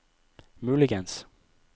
muligens